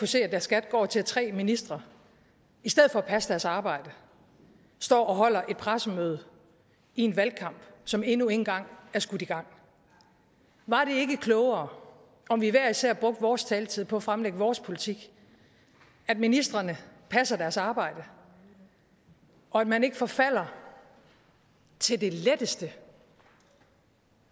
se at deres skat går til at tre ministre i stedet for at passe deres arbejde står og holder et pressemøde i en valgkamp som endnu ikke engang er skudt i gang var det ikke klogere at vi hver især brugte vores taletid på at fremlægge vores politik at ministrene passede deres arbejde og at man ikke forfaldt til det letteste